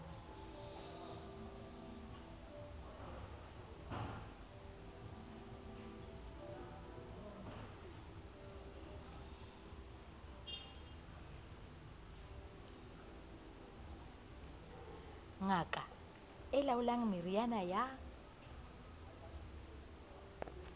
ngaka e laolang meriana ya